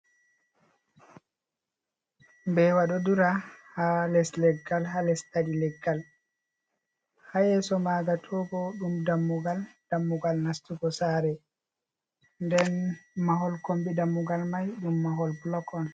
Mbeewa ɗo dura haa les leggal, haa les ɗaɗi leggal. Haa yeeso maanga to bo ɗum dammugal, dammugal nastugo saare. Nden mahol kombi dammugal mai, ɗum mahol bulok on.